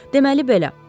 Deməli belə.